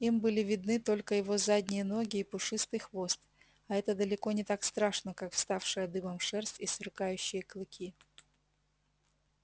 им были видны только его задние ноги и пушистый хвост а это далеко не так страшно как вставшая дыбом шерсть и сверкающие клыки